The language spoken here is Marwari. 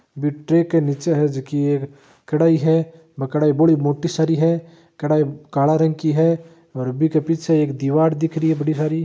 बी ट्रे के नीचे है जकी एक कड़ाई है बा कड़ाई बोली मोटी सारी है कड़ाई काला रंग की है और बीके पीछे एक दिवार दिख रही है बड़ी सारी।